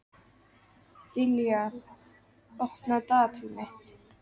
Dilja, opnaðu dagatalið mitt.